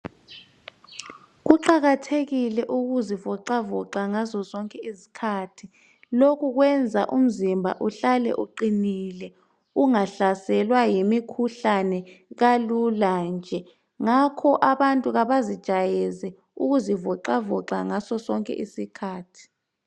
Kuqakathekile ukuzivoxavoxa ngazozonke izikhathi , lokhu kwenza umzimba uhlale uqinile ungahlaselwa yimikhuhlane kalula nje ngakho abantu kabazijayeze ukuzivoxavoxa ngasozonke isikhathi